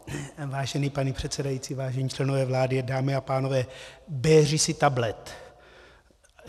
Vážený pane předsedající, vážení členové vlády, dámy a pánové, béři si tablet.